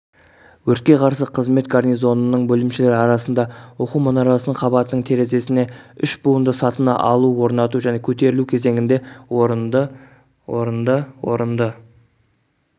өртке қарсы қызмет гарнизонының бөлімшелері арасында оқу мұнарасының қабатының терезесіне үш буынды сатыны алу орнату және көтерілу кезеңінде орынды орынды орынды